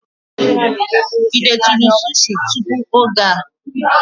Ị detụrụ sushi tupu oge a?